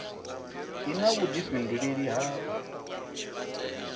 i na vhuḓifhinduleli ha u